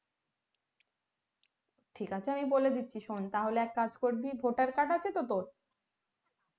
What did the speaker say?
ঠিক আছে আমি বলে দিচ্ছি শোন তাহলে এক কাজ করিবি voter card আছে তো তোর